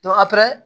a